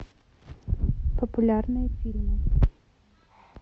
популярные фильмы